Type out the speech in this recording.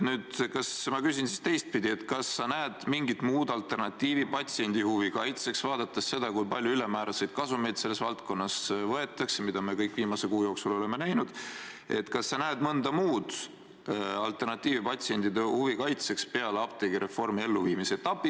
Ma küsin siis teistpidi: kas sa näed mõnda muud alternatiivi patsiendi huvi kaitseks, vaadates seda, kui palju ülemääraseid kasumeid selles valdkonnas võetakse, mida me kõik viimase kuu jooksul oleme näinud, kas sa näed mõnda muud alternatiivi patsientide huvi kaitseks peale apteegireformi elluviimise?